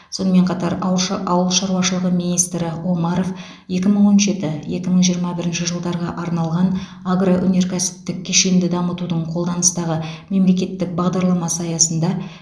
сонымен қатар ауыл ша ауыл шаруашылығы министрі омаров екі мың он жеті екі мың жиырма бірінші жылдарға арналған агроөнеркәсіптік кешенді дамытудың қолданыстағы мемлекеттік бағдарламасы аясында